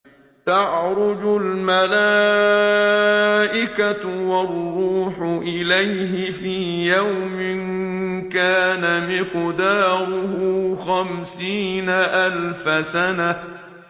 تَعْرُجُ الْمَلَائِكَةُ وَالرُّوحُ إِلَيْهِ فِي يَوْمٍ كَانَ مِقْدَارُهُ خَمْسِينَ أَلْفَ سَنَةٍ